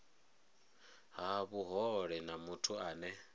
ha vhuhole na muthu ane